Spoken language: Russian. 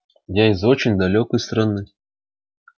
я из очень далёкой страны